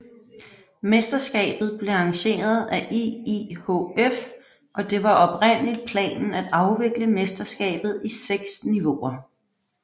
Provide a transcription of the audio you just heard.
Mesterskabet blev arrangeret af IIHF og det var oprindeligt planen at afvikle mesterskabet i seks niveauer